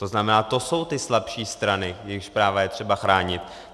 To znamená, to jsou ty slabší strany, jejich práva je třeba chránit.